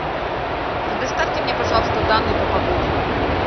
предоставьте мне пожалуйста данные по погоде